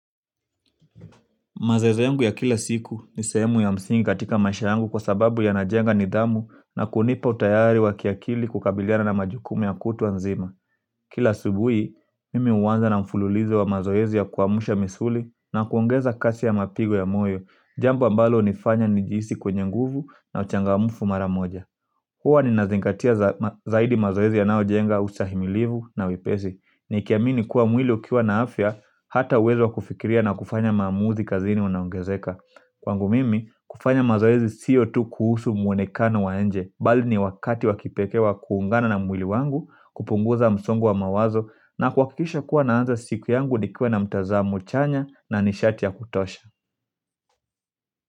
Mazeozi yangu ya kila siku ni sehemu ya msingi katika maisha yangu kwa sababu yanajenga nidhamu na kunipa utayari wa kiakili kukabiliana na majukumu ya kutwa nzima. Kila asubuhi, mimi huanza na mfululizo wa mazoezi ya kuamsha misuli na kuongeza kasi ya mapigo ya moyo, jambo ambalo hunifanya nijihisi kwenye nguvu na uchangamfu mara moja. Huwa ninazingatia zaidi mazoezi yanayojenga ustahimilivu na wepesi. Nikiamini kuwa mwili ukiwa na afya hata uwezo wa kufikiria na kufanya maamuzi kazini unaongezeka. Kwangu mimi, kufanya mazoezi sio tu kuhusu muonekano wa nje bali ni wakati wa kipekee wa kuungana na mwili wangu kupunguza msongo wa mawazo na kuhakikisha kuwa naanza siku yangu nikiwa na mtazamo chanya na nishati ya kutosha.